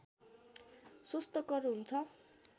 स्वस्थकर हुन्छ